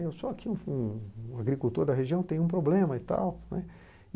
Eu sou aqui um um um agricultor da região, tenho um problema e tal, né.